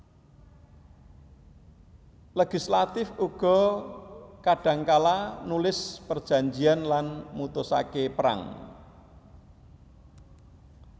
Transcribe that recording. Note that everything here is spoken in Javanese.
Legislatif uga kadhangkala nulis perjanjèn lan mutusaké perang